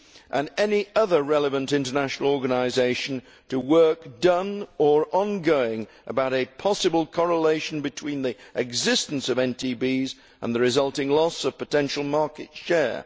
and any other international organisation that is relevant to work done or ongoing about a possible correlation between the existence of NTBs and the resulting loss of potential market share.